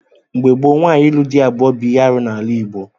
Mgbe gboo, nwaanyị ịlụ di abụọ bụ ihe arụ n'ala Igbo.